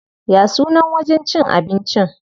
Ya sunan wajen cin abincin?